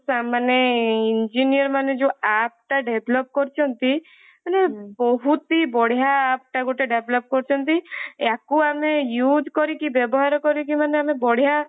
ମାନେ engineer ମାନେ ଯୋଊ app ଟା develop କରୁଛନ୍ତି ମାନେ ବହୁତ ହିଁ ବଢିଆ app ଟା ଗୋଟେ develop କରୁଛନ୍ତି ୟାକୁ ଆମେ use କରିକି ବ୍ୟବହାର କରିକି ମାନେ ଆମେ ବଢିଆ